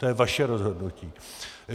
To je vaše rozhodnutí.